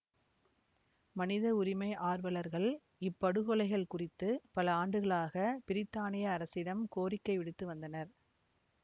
மனித உரிமை ஆர்வலர்கள் இப்படுகொலைகள் குறித்து பல ஆண்டுகளாக பிரித்தானிய அரசிடம் கோரிக்கை விடுத்து வந்தனர்